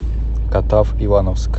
катав ивановск